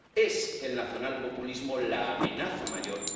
Es el nacionalpopulismo la amenaza mayor.